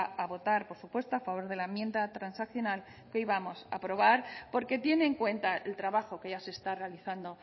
a votar por supuesto a favor de la enmienda transaccional que hoy vamos a aprobar porque tiene en cuenta el trabajo que ya se está realizando